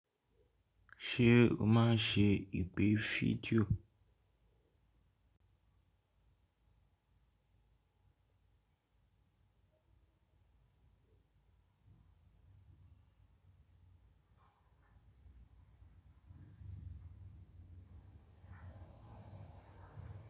Ṣé o máa ń ṣe ìpè fídíò?